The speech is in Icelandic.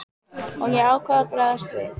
Og ég ákvað að bregðast við.